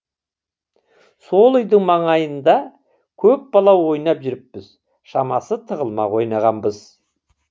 сол үйдің маңайында көп бала ойнап жүріппіз шамасы тығылмақ ойнағанбыз